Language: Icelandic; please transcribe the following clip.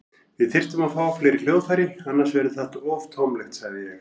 Við þyrftum að fá fleiri hljóðfæri, annars verður það of tómlegt, sagði ég.